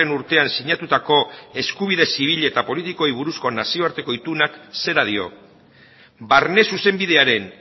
urtean sinatutako eskubide zibil eta politikoei buruzko nazioarteko itunak zera dio barne zuzenbidearen